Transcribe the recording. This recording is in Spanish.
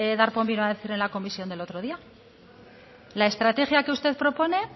darpón vino a decir en la comisión del otro día la estrategia que usted propone